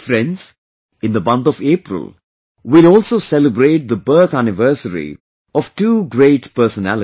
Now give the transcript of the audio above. Friends, in the month of April we will also celebrate the birth anniversary of two great personalities